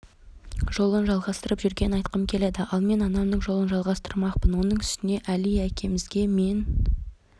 жолын жалғастырып жүргенін айтқым келеді ал мен анамның жолын жалғастырмақпын оның үстіне әли әкемізге мен